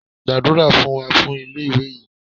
Gbàdúrà fún wa fún ilé ìwé yìí!